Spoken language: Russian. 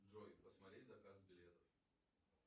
джой посмотреть заказ билетов